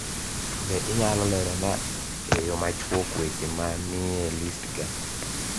Be inyalo lerona e yo machuok weche ma nie list ga